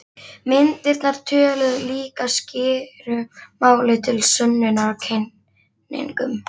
Myndirnar töluðu líka skýru máli til sönnunar á kenningum